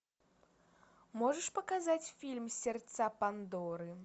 можешь показать фильм сердца пандоры